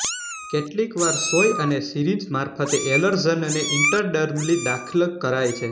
કેટલીકવાર સોંય અને સિરિન્જ મારફતે એલર્જનને ઇન્ટરડર્મલી દાખલ કરાય છે